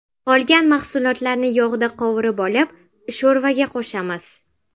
Qolgan mahsulotlarni yog‘da qovurib olib, sho‘rvaga qo‘shamiz.